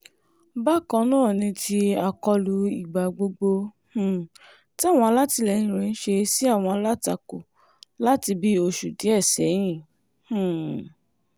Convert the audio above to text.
bákan náà ni ti àkọlù ìgbà gbogbo um táwọn alátìlẹyìn rẹ̀ ń ṣe sí àwọn alátakò láti bíi oṣù díẹ̀ sẹ́yìn um